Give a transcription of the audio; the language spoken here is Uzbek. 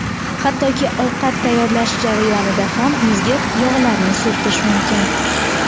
Hattoki ovqat tayyorlash jarayonida ham yuzga yog‘larni surtish mumkin.